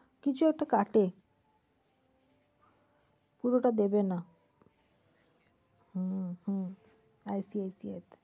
কিছু একটা কাটে। পুরোটা দেবে না। হম হম ICIC তে